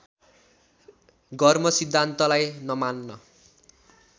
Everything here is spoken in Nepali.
गर्मसिद्धान्तलाई नमान्न